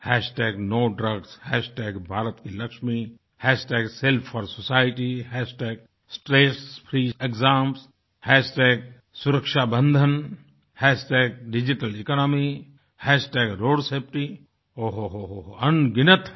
hashtag no to drugs NoToDrugsहैशटैगभारत की लक्ष्मीBharatKiLakshami हैशटैग सेल्फफॉरसोसाइटी Self4SocietyहैशटैगStressFreeExamStressFreeExamsहैशटैगसुरक्षा बन्धनSurakshaBandhan हैशटैग डिजिटल EconomyDigitalEconomyहैशटैग रोड SafetyRoadSafetyओ हो हो अनगिनत हैं